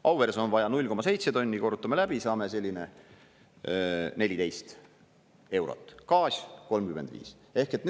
Auveres on vaja 0,7 tonni, korrutame läbi, saame selline 14 eurot, gaas 35 eurot.